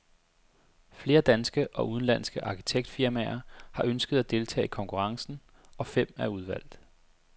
Flere danske og udenlandske arkitektfirmaer har ønsket at deltage i konkurrencen, og fem er udvalgt.